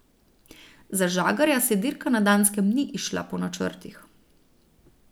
Za Žagarja se dirka na Danskem ni izšla po načrtih.